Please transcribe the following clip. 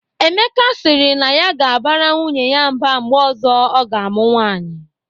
Emeka sịrị na ya ga-abara nwunye ya mba mgbe ọzọ ọ ga-amụ nwaanyị